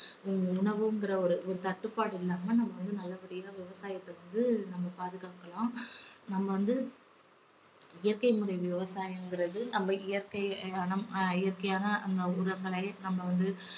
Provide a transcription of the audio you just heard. உணவுங்குற ஒரு ஒரு தட்டுப்பாடு இல்லாம நம்ம வந்து நல்லபடியா விவசாயத்தை வந்து நம்ம பாதுகாக்கலாம். நம்ம வந்து இயற்கை முறை விவசாயம்கிறது நம்ம இயற்கை~ இயற்கையான உரங்களை நம்ப வந்து